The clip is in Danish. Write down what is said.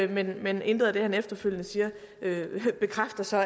man men intet af det han efterfølgende siger bekræfter så at